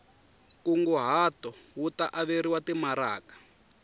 nkunguhato wu ta averiwa timaraka